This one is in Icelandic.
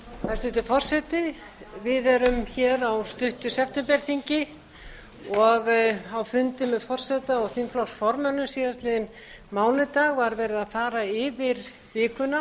hæstvirtur forseti við erum hér á stuttu septemberþingi og á fundi með forseta og þingflokksformönnum síðastliðinn mánudag var verið að fara yfir vikuna